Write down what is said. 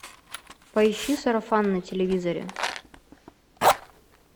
поищи сарафан на телевизоре